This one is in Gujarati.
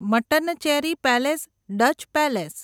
Mattancherry palace Dutch palace